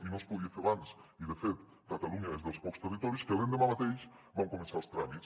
i no es podia fer abans i de fet catalunya és dels pocs territoris que l’endemà mateix va començar els tràmits